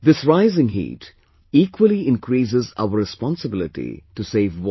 This rising heat equally increases our responsibility to save water